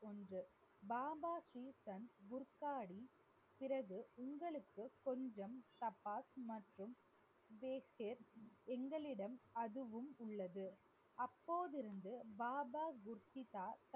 பாபாஜி சந்த் குர்காடி பிறகு உங்களுக்கு கொஞ்சம் எங்களிடம் அதுவும் உள்ளது அப்போதிருந்து பாபா குர்தித்தா தனது